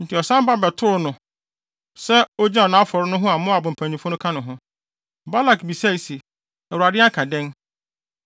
Enti ɔsan ba bɛtoo no no sɛ ogyina nʼafɔre no ho a Moab mpanyimfo no ka ne ho. Balak bisae se, “ Awurade aka dɛn?”